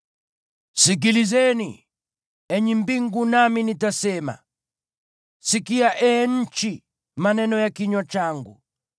Sikilizeni, enyi mbingu, nami nitasema; sikia, ee nchi, maneno ya kinywa changu.